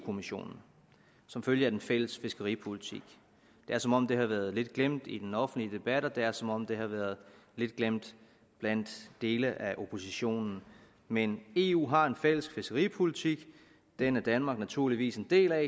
kommissionen som følge af den fælles fiskeripolitik det er som om det har været lidt glemt i den offentlige debat og det er som om det har været lidt glemt blandt dele af oppositionen men eu har en fælles fiskeripolitik den er danmark naturligvis en del af